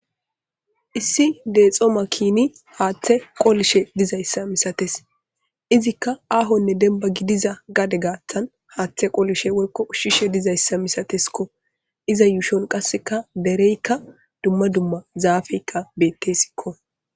Issi dexo makinay haathe qolishe dizayssa misatees izika ahonne denba gidiza gade haatha haathe qolishe dizayssa woyko ushishe dizayssa misatesko iza yuushon qaseka dereyka duma duma zaafetika betesilo.